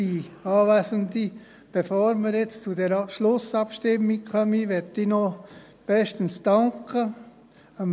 der SiK. Bevor wir jetzt zu dieser Schlussabstimmung kommen, möchte ich noch bestens danken: